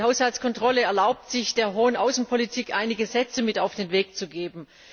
Die Haushaltskontrolle erlaubt sich, der hohen Außenpolitik einige Sätze mit auf den Weg zu geben.